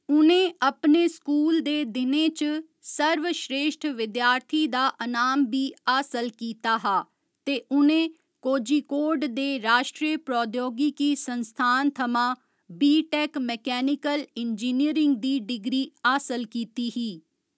उ'नें अपने स्कूल दे दिनें च सर्वश्रेश्ठ विद्यार्थी दा अनाम बी हासल कीता हा ते उ'नें कोझिकोड दे राश्ट्रीय प्रौद्योगिकी संस्थान थमां बी. टेक मैकेनिकल इंजीनियरिंग दी डिग्री हासल कीती ही।